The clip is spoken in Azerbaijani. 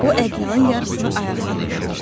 O ədyalın yarısını ayağına dolamışdı.